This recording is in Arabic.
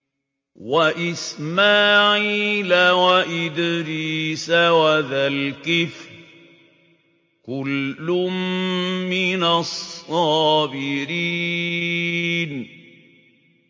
وَإِسْمَاعِيلَ وَإِدْرِيسَ وَذَا الْكِفْلِ ۖ كُلٌّ مِّنَ الصَّابِرِينَ